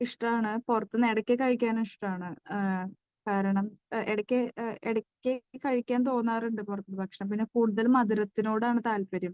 ഇഷ്ടമാണ്, പുറത്തുനിന്ന് ഇടയ്ക്ക് കഴിക്കാനും ഇഷ്ടമാണ്. കാരണം, ഇടയ്ക്ക് കഴിക്കാൻ തോന്നാറുണ്ട് പുറത്തുനിന്ന് ഭക്ഷണം. പിന്നെ കൂടുതൽ മധുരത്തിനോട് ആണ് താല്പര്യം.